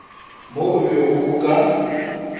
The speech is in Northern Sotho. mo o bego o ka